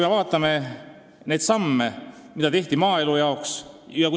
Vaatame neid samme, mida on tehtud maaelu heaks.